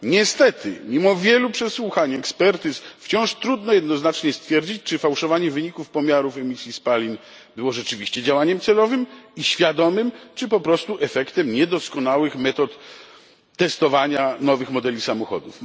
Niestety mimo wielu przesłuchań i ekspertyz wciąż trudno jednoznacznie stwierdzić, czy fałszowanie wyników pomiarów emisji spalin było rzeczywiście działaniem celowym i świadomym czy, po prostu, efektem niedoskonałych metod testowania nowych modeli samochodów.